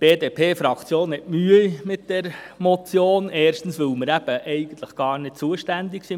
Die BDP-Fraktion hat Mühe mit dieser Motion, erstens, weil wir eben im Kanton Bern eigentlich gar nicht zuständig sind.